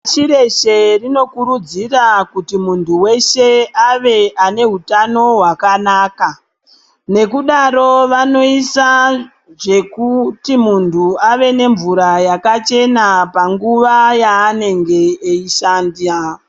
Pashi reshe rinokurudzira kuti munthu weshe ave anehutano hwakanaka. Nekudaro vanoisa zvekuti munthu ave nemvura yakachena panguva yaanenge eishanda.